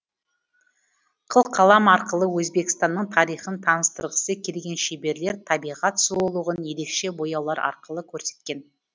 қылқалам арқылы өзбекстанның тарихын таныстырғысы келген шеберлер табиғат сұлулығын ерекше бояулар арқылы көрсеткен